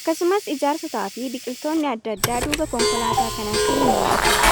Akkasumas ijaaarsotaa fi biqiltoonni adda addaa duuba konkolaataa kanaatti ni mul'atu.